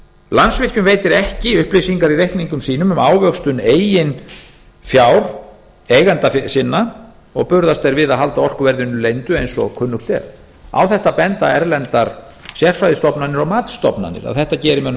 landsvirkjun veitir ekki upplýsingar í reikningum sínum um ávöxtun eigin fjár eigenda sinna og burðast þeir við að halda orkuverðinu leyndu eins og kunnugt er á þetta benda erlendar sérfræðistofnanir og matsstofnanir að þetta geri mönnum